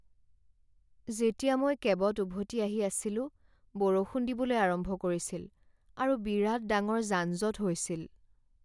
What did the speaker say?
যেতিয়া মই কেবত উভতি আহি আছিলো, বৰষুণ দিবলৈ আৰম্ভ কৰিছিল আৰু বিৰাট ডাঙৰ যানজঁট হৈছিল।